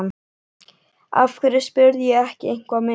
Af hverju spurði ég ekki eitthvað meira?